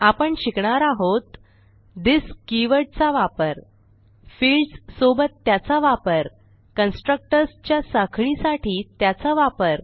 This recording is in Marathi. आपण शिकणार आहोत थिस कीवर्ड चा वापर फील्ड्स सोबत त्याचा वापर कन्स्ट्रक्टर्स च्या साखळीसाठी त्याचा वापर